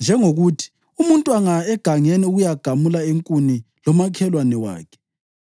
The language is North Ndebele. Njengokuthi, umuntu angaya egangeni ukuyagamula inkuni lomakhelwane wakhe,